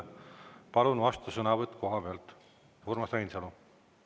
Palun vastusõnavõtt kohapealt, Urmas Reinsalu!